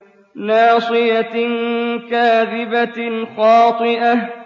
نَاصِيَةٍ كَاذِبَةٍ خَاطِئَةٍ